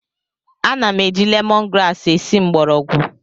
Ana m eji lemon grasi esi mgbọrọgwụ